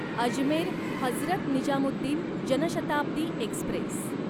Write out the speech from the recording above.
Ajmer Hazrat Nizamuddin Janshatabdi Express